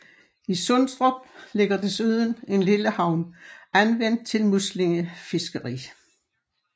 I Sundstrup ligger desuden en lille havn anvendt til muslingefiskeri